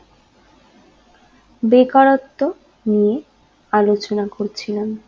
বেকারত্ব নিয়ে আলোচনা করছিলাম